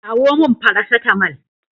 Kawo min Faracetamal.